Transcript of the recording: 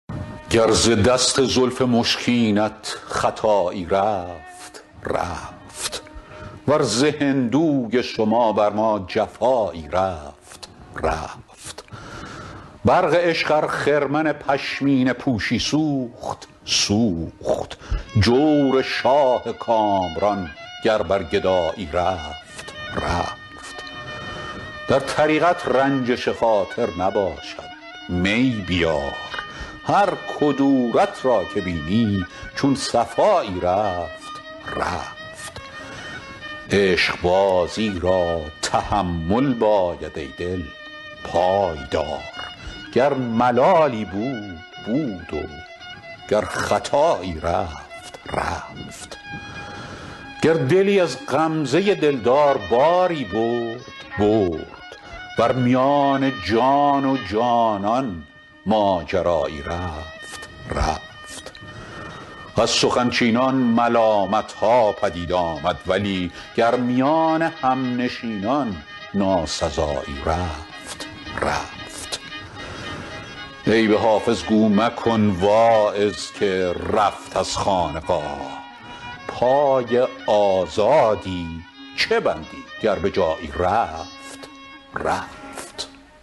گر ز دست زلف مشکینت خطایی رفت رفت ور ز هندوی شما بر ما جفایی رفت رفت برق عشق ار خرمن پشمینه پوشی سوخت سوخت جور شاه کامران گر بر گدایی رفت رفت در طریقت رنجش خاطر نباشد می بیار هر کدورت را که بینی چون صفایی رفت رفت عشقبازی را تحمل باید ای دل پای دار گر ملالی بود بود و گر خطایی رفت رفت گر دلی از غمزه دلدار باری برد برد ور میان جان و جانان ماجرایی رفت رفت از سخن چینان ملالت ها پدید آمد ولی گر میان همنشینان ناسزایی رفت رفت عیب حافظ گو مکن واعظ که رفت از خانقاه پای آزادی چه بندی گر به جایی رفت رفت